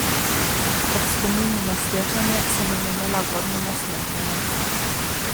Ob spominu na srečanje sem se nelagodno nasmehnila.